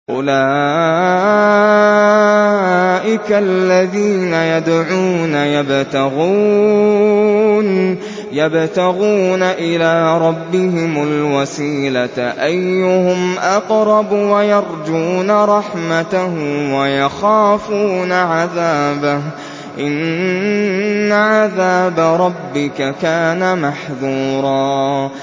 أُولَٰئِكَ الَّذِينَ يَدْعُونَ يَبْتَغُونَ إِلَىٰ رَبِّهِمُ الْوَسِيلَةَ أَيُّهُمْ أَقْرَبُ وَيَرْجُونَ رَحْمَتَهُ وَيَخَافُونَ عَذَابَهُ ۚ إِنَّ عَذَابَ رَبِّكَ كَانَ مَحْذُورًا